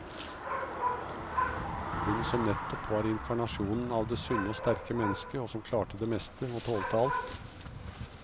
Hun, som nettopp var inkarnasjonen av det sunne og sterke mennesket som klarte det meste og tålte alt.